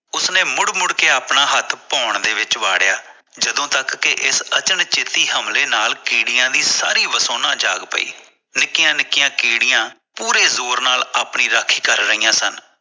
ਉਸਨੇ ਮੁੜ ਮੁੜ ਕੇ ਆਪਣਾ ਹੱਥ ਭੋਣ ਵਿੱਚ ਵਾਰਿਆ ਜਦੋ ਤੱਕ ਕਿ ਇਸ ਅਚਲ ਚੇਤੀ ਹਮਲੇ ਨਾਲ ਕੀੜੀਆ ਦੀ ਸਾਰੀ ਵਸੋਨਾ ਜਾਗ ਪਈ ਨਿੱਕੀ ਨਿੱਕੀ ਕੀੜੀਆ ਪੂਰੇ ਜ਼ੋਰ ਨਾਲ ਆਪਣੀ ਰਾਖੀ ਕਰ ਰਹੀਆਂ ਸਨ